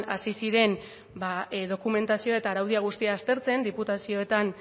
hasi ziren dokumentazioa eta araudia guztia aztertzen diputazioetan